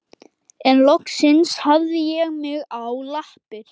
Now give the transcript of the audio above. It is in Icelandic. En loksins hafði ég mig á lappir.